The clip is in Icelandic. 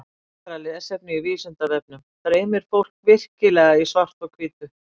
Frekara lesefni á Vísindavefnum Dreymir fólk virkilega í svart-hvítu?